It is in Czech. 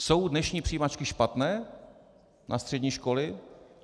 Jsou dnešní přijímačky špatné na střední školy?